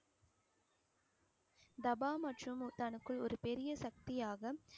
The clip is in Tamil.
தபா மற்றும் முத்தானுக்குள் ஒரு பெரிய சக்தியாக